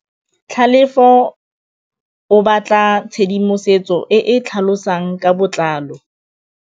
Tlhalefô o batla tshedimosetsô e e tlhalosang ka botlalô.